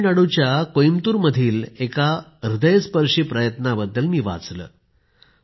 तामिळनाडूच्या कोयंबटूरमधील एका हृदयस्पर्शी प्रयत्नाबद्दल मी वाचले